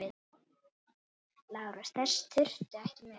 LÁRUS: Þess þurfti ekki með.